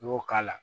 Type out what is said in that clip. N y'o k'a la